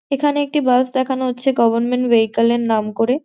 এখানে একটি বাস দেখানো হচ্ছে গভর্নমেন্ট ভেহিকল এর নাম করে।